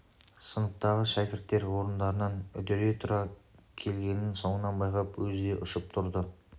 сыныптағы шәкірттер орындарынан үдере тұра келгенін соңынан байқап өзі де ұшып тұрды